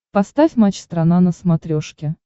поставь матч страна на смотрешке